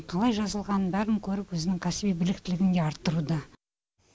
қалай жазылғанын бәрін көріп өзінің кәсіби біліктілігін де арттыруда